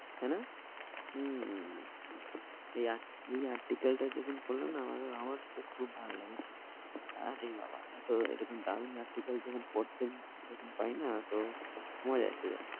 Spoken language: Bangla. তাই না? হম এই এই article টা যখন পড়লাম না আমার আমার তো খুব ভালো লেগেছে। আরে বাবা, তো এরকম দারুন article যখন পড়তে যখন পাই না তো মজা এসে যায়।